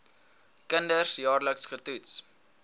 kinders jaarliks getoets